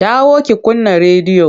Dawo ki kunna rediyon!